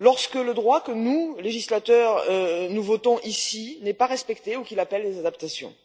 lorsque le droit que nous, législateurs, votons ici n'est pas respecté ou qu'il appelle des adaptations.